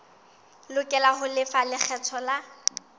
lokela ho lefa lekgetho la